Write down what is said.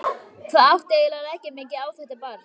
Hvað átti eiginlega að leggja mikið á þetta barn?